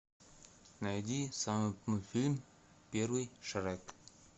найди самый мультфильм первый шрек